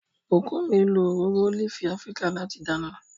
Bukunmi lo òróró ólífì Afíríkà láti dáná.